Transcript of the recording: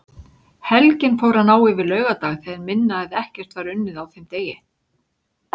Helgin fór að ná yfir laugardag þegar minna eða ekkert var unnið á þeim degi.